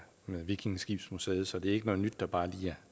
vikingeskibsmuseet så det er ikke noget nyt der bare lige